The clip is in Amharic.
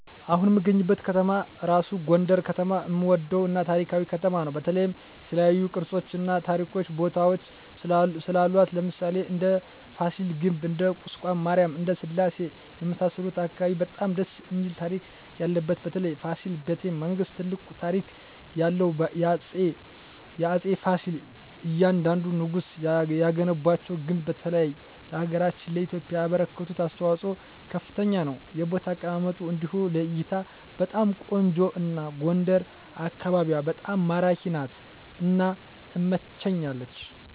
አሁን እምገኝበት ከተማ እራሡ ጎንደር ከተማ እምወደው እና ታሪካዊ ከተማ ነው በተለይ የተለያዮ ቅርሶች እና ታሪካዊ ቦታወች ስላሏት ለምሣሌ እንደ ፍሲል ግቢ እንደ ቁስቋም ማሪያም እንደ ስላሴ የመሣሠሉት አካባቢ በጣም ደስ እሚል ታሪክ ያለበት በተለይ ፋሲል በተ መንግስት ትልቅ ታሪክ ያለው በአፄ ፍሲል እያንደንዱ ንጉስ የገነቧቸው ግንባታ በተለይ ለሀገራችን ለኢትዮጵያ ያበረከቱት አስተዋፅኦ ከፍተኛ ነው የቦታ አቀማመጡ እንዲሁ ለእይታ በጣም ቆንጆ ነው አና ጎንደር አካቢዋ በጣም ማራኪ ናት እና ትመቸኛለች